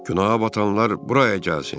Günaha batanlar bura gəlsin!